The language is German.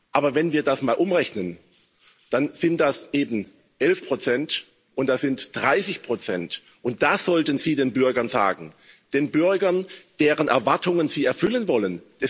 Aber wenn wir das mal umrechnen, dann sind das eben 11 und das sind 30 und das sollten Sie den Bürgern sagen, den Bürgern, deren Erwartungen Sie erfüllen wollen.